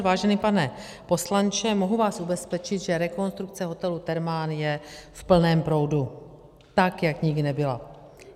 Vážený pane poslanče, mohu vás ubezpečit, že rekonstrukce hotelu Thermal je v plném proudu, tak jak nikdy nebyla.